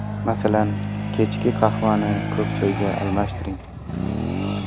Masalan, kechki qahvani ko‘k choyga almashtiring.